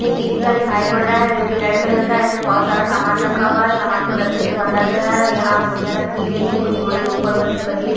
एक ई-रिक्शा दिखाई पड़ रहा है जो कि रेड कलर का है इसमें बहुत सारा सामान रखा हुआ है सामान को रस्सी से बांधा गया है यहाँ बोरियाँ रखी गयी है कुछ बोरी ऊपर बंधी हुई --